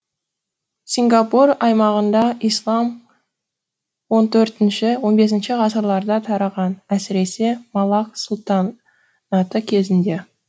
сингапур аймағында ислам он төртінші он бесінші ғасырларда тараған әсіресе малакк сұлтанаты кезеңінде